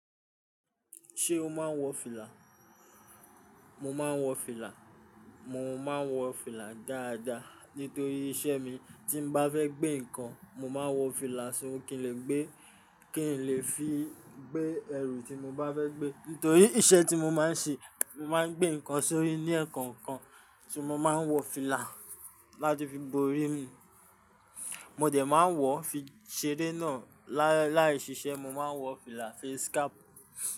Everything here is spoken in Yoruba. Ṣé o máa ń wọ fìlà? Mo máa ń wọ fìlà. Mo máa ń wọ fìlà dáadáa. Nítorí iṣẹ́ mi, tí bá fẹ́ gbé nǹkan, mo máa ń wọ fìlà sóri kí n lè gbé, kí n lè fi gbé ẹrù tí mo bá fẹ́ gbé. Nítorí iṣẹ́ tí mo máa ń ṣe, mo máa ń gbé nǹkan sórí ni ekọ̀ọ̀kan, ṣo mo máa ń wọ fìlà láti fi borí mi. Mo dẹ̀ máa wọ̀ fi ṣeré náà. Láì ṣiṣẹ́, mo máa ń wọ fìlà, face cap.